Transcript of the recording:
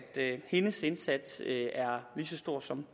hendes indsats er lige så stor som